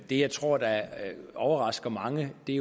det jeg tror overrasker mange er